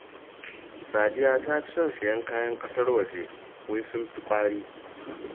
Sadiya ta fi son sayen kayan ƙasar waje, wai sun fi ƙwari